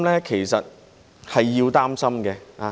其實是要擔心的。